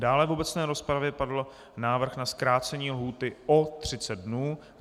Dále v obecné rozpravě padl návrh na zkrácení lhůty o 30 dnů.